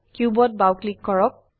কিউবত বাও ক্লিক কৰক